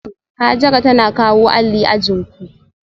Hajara tana kawo alli ajin ku